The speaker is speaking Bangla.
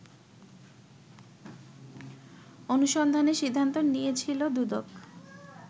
অনুসন্ধানের সিদ্ধান্ত নিয়েছিল দুদক